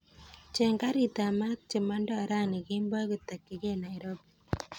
Cheng karit ab maat chemanda rani kemboi kotakyigei nairobi